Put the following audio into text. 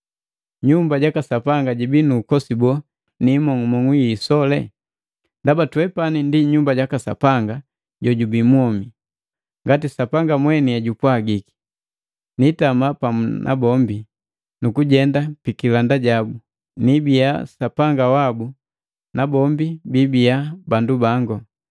Nyumba jaka Sapanga jibii nu ukosi boo, ni imong'umong'u yi isole? Ndaba twepani ndi Nyumba jaka Sapanga jojubii mwomi. Ngati Sapanga mweni ejupwagiki, “Nitama pamu nabombi, nukujenda pikilanda jabu. Nibiya Sapanga wabu, nabombi biibiya bandu bangu.”